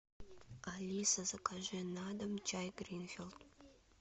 алиса закажи на дом чай гринфилд